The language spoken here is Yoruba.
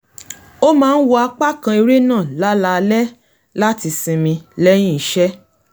ó máa ń wo apá kan eré náà láláalẹ́ láti sinmi lẹ́yìn iṣẹ́